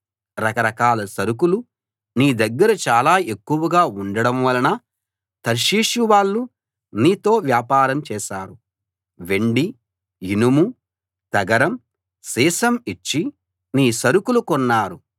రకరకాల సరకులు నీ దగ్గర చాలా ఎక్కువగా ఉండడం వలన తర్షీషు వాళ్ళు నీతో వ్యాపారం చేశారు వెండి ఇనుము తగరం సీసం ఇచ్చి నీ సరకులు కొన్నారు